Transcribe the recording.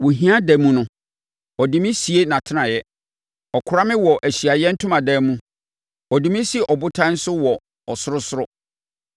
Wɔ hia ɛda mu no ɔde me sie nʼatenaeɛ; ɔkora me wɔ Ahyiaeɛ Ntomadan mu. Ɔde me si ɔbotan so wɔ ɔsorosoro.